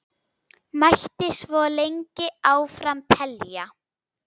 Mætti svo lengi áfram telja.